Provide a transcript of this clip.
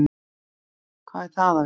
hvað er það að vita